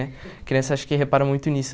Né? A criança acho que repara muito nisso.